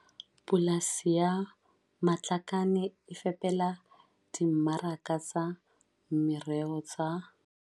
Polasi ya Matlakane e fepela dimmaraka tsa meroho tsa